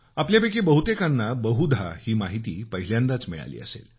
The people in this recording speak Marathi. आपल्यापैकी बहुतेकांना बहुधा ही माहिती पहिल्यांदाच मिळाली असेल